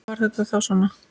Var þetta þá svona?